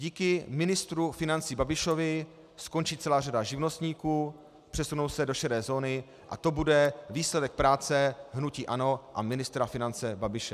Díky ministru financí Babišovi skončí celá řada živnostníků, přesunou se do šedé zóny a to bude výsledek práce hnutí ANO a ministra financí Babiše.